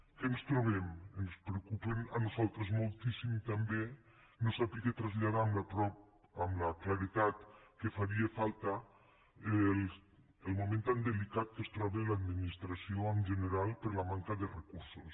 què ens trobem ens preocupa a nosaltres moltíssim també no saber traslladar amb la claredat que faria falta el moment tan delicat en què es troba l’administració en general per la manca de recursos